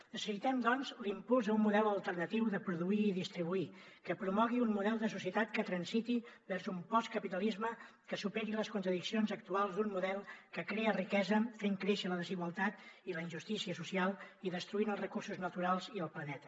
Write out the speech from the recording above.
necessitem doncs l’impuls a un model alternatiu de produir i distribuir que promogui un model de societat que transiti vers un postcapitalisme que superi les contradiccions actuals d’un model que crea riquesa fent créixer la desigualtat i la injustícia social i destruint els recursos naturals i el planeta